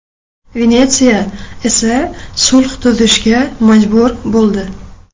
Venetsiya esa sulh tuzishga majbur bo‘ldi.